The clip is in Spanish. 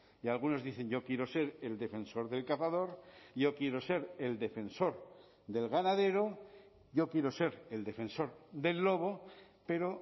y algunos dicen yo quiero ser el defensor del cazador yo quiero ser el defensor del ganadero yo quiero ser el defensor del lobo pero